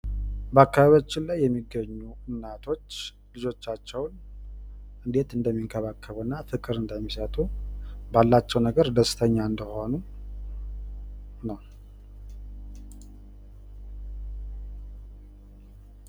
በአካባቢያችን የሚገኙ እናቶች እንዴት ልጆቻቸውን እንደሚንከባከቡ እና እንዴት ፍቅር እንደሚሰቱ እንዲሁም ባላቸው ነገር ላይ ደስተኛ እንደሆኑ የሚያሳይ ምስል ነው።